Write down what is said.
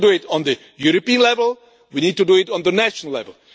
We need to do it on the European level, we need to do it on the national level.